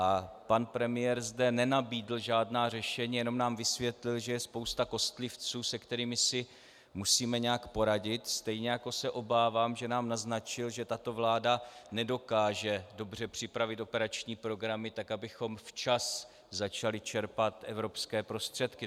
A pan premiér zde nenabídl žádná řešení, jenom nám vysvětlil, že je spousta kostlivců, se kterými si musíme nějak poradit, stejně jako se obávám, že nám naznačil, že tato vláda nedokáže dobře připravit operační programy tak, abychom včas začali čerpat evropské prostředky.